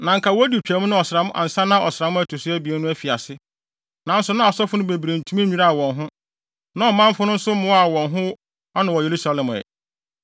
Na anka wodi Twam no ɔsram ansa na ɔsram a ɛto so abien no afi ase, nanso na asɔfo no bebree ntumi nnwiraa wɔn ho, na ɔmanfo no nso mmoaa wɔn ho ano wɔ Yerusalem ɛ.